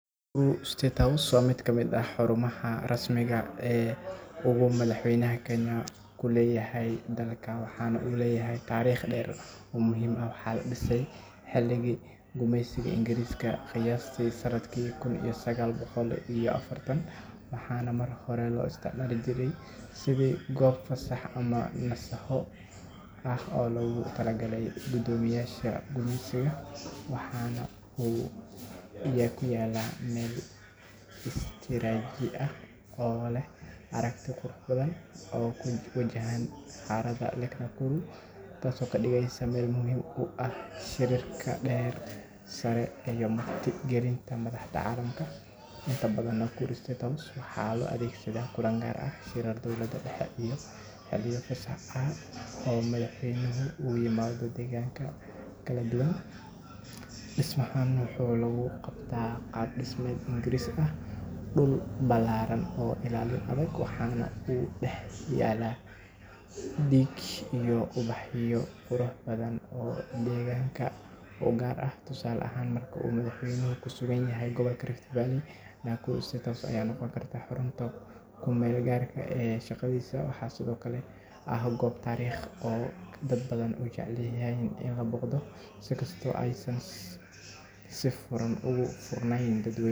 Nakuru State House waa mid ka mid ah xarumaha rasmiga ah ee uu madaxweynaha Kenya ku leeyahay dalka, waxaana uu leeyahay taariikh dheer oo muhiim ah. Waxaa la dhisay xilligii gumaysiga Ingiriiska, qiyaastii sannadkii kun iyo sagaal boqol iyo afartan, waxaana markii hore loo isticmaali jiray sidii goob fasax ama nasasho ah oo loogu talagalay guddoomiyeyaasha gumeysiga. Waxa uu ku yaalla meel istiraatiiji ah oo leh aragti qurux badan oo ku wajahan harada Lake Nakuru, taas oo ka dhigaysa meel muhiim u ah shirarka heer sare ah iyo marti gelinta madaxda caalamka. Inta badan, Nakuru State House waxaa loo adeegsadaa kulan gaar ah, shirar dowladda dhexe iyo xilliyo fasax ah oo madaxweynuhu u yimaado deegaanada kala duwan. Dhismahan waxaa lagu gartaa qaab-dhismeed Ingiriis ah, dhul ballaaran iyo ilaalin adag, waxaana ku dhex yaalla dhir iyo ubaxyo qurux badan oo deegaanka u gaar ah. Tusaale ahaan, marka uu madaxweynuhu ku sugan yahay gobolka Rift Valley, Nakuru State House ayaa noqon karta xarunta kumeel-gaarka ah ee shaqadiisa. Waxaa sidoo kale ah goob taariikhi ah oo dad badan ay jeclaan lahaayeen in la booqdo, in kastoo aysan si furan ugu furnayn dadweynaha guud.